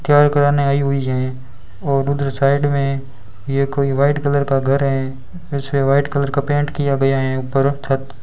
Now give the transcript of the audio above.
तैयार कराने आई हुई है और उधर साइड में ये कोई व्हाइट कलर का घर है उसे व्हाइट कलर का पेंट किया गया हैं ऊपर छत --